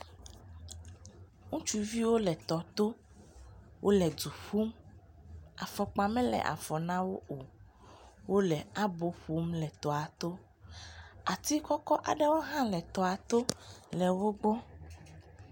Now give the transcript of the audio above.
Ŋutsuwo le tɔto wole dzu ƒum afɔkpa mele afɔ nawo o wole abo ƒom le tɔa to ati kɔkɔ aɖewo ha le toa to le wogbɔ